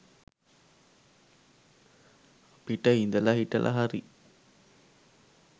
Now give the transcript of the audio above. අපිට ඉදල හිටල හරි